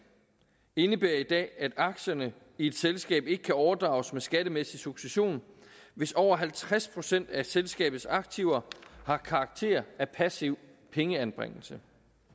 indebærer i dag at aktierne i et selskab ikke kan overdrages med skattemæssig succession hvis over halvtreds procent af selskabets aktiver har karakter af passiv pengeanbringelse